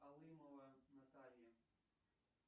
алымова наталья